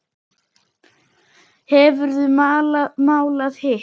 Hefurðu málað hitt?